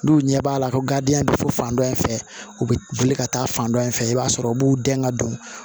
N'u ɲɛ b'a la ko garidiɲɛ bɛ fɔ fan dɔ in fɛ u bɛ wuli ka taa fan dɔ in fɛ i b'a sɔrɔ u b'u dɛn ka don